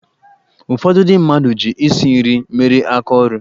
Ụfọdụ ndị mmadụ ji isi nri mere aka ọrụ.